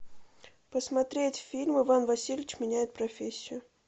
посмотреть фильм иван васильевич меняет профессию